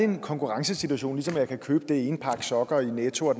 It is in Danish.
en konkurrencesituation som jeg kan købe det ene par sokker i netto og